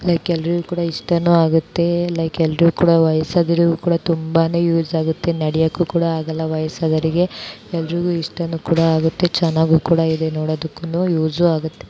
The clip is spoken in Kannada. ಏಕೆ ಎಲ್ಲರೂ ಕೂಡ ಯೂಸ್ ಆಗುತ್ತೆ ವೈಸ್ ಆಗಿರೋರ್ಗೆಲ್ಲ ನಡಿಯಕ್ಕಾಗಲ್ಲ ಎಲ್ಲರೂ ಕೂಡ ಇದರಿಂದ ಎಲ್ಲರಿಗೂ ಯೂಸ್ ಆಗುತ್ತೆ ನೋಡಕ್ಕೂ ಕೂಡ ಚೆನ್ನಾಗಿದೆ